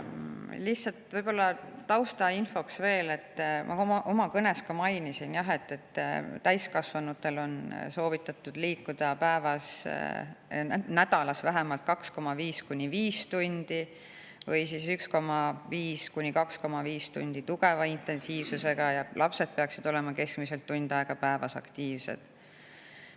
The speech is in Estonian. Lihtsalt taustainfoks, et ma oma kõnes ka mainisin, et täiskasvanutel on soovitatud liikuda nädalas vähemalt 2,5–5 tundi või 1,5–2,5 tundi tugeva intensiivsusega ja lapsed peaksid olema keskmiselt tund aega päevas aktiivsed.